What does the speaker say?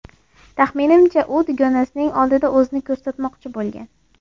Taxminimcha, u dugonasining oldida o‘zini ko‘rsatmoqchi bo‘lgan.